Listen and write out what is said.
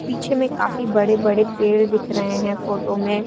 पीछे में काफी बड़े बड़े पेड़ दिख रहे हैं फोटो में।